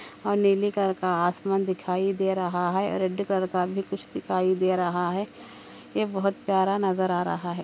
आसमान दिखाई दे रहा हे रेड कलर कार दिखाई दे रहा ये बहुत प्यारा नजर आ रहा हे |